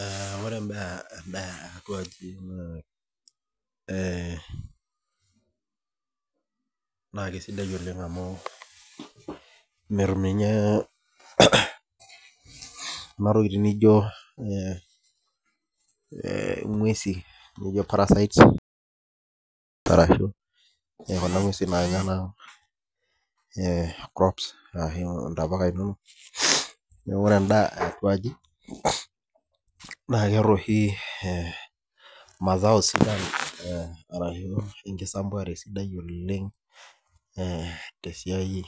Eh ore bae eh atua aji amu eh naa kisidai oleng amu, metum ninye kuna tokitin naijo eh inguesi parasites arashu, kuna nguesi nanya naa eh crops arashu intapuka inonok . Neaku ore endaa eh atua aji naa, keetae oshi eh masao sidan eh arashu ekisapuare sidai oleng eh te siai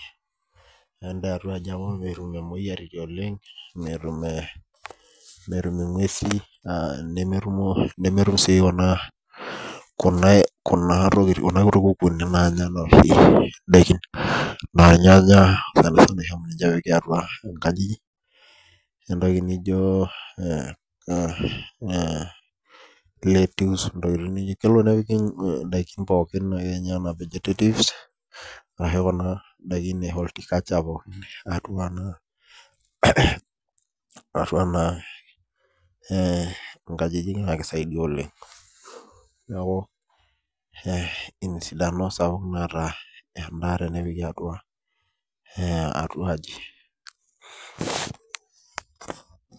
endaa eh atua aji amu, metum imoyiaritin oleng , metum eh metum inguesi ah nemetum si kuna tokitin kuna kukunik nanya indaikin. Enaa irnyanya sanisana amu ijo ninje epiki atua inkajijik etoki nijo eh legumes kelo nepiki intokitin indaikin pookin enaa vegetative arashu kuna ndaiki eh horticulture pookin atua ena eh nkajijik naa kisaidia oleng. Neaku eh ina esidano sapuk naata endaa tenepiki atua eh atua aji .